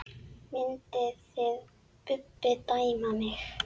Mynduð þið Bubbi dæma mig?